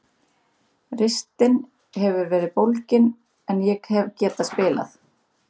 Ristin hefur verið bólgin en ég hef getað spilað.